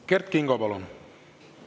Kert Kingo, palun!